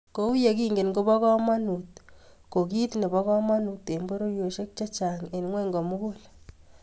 Kouyekingen kobo komonut ko kit nebo komonut eng pororiosiek chechang eng ngwony komugul